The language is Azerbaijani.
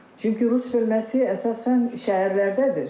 Çünki rus bölməsi əsasən şəhərlərdədir.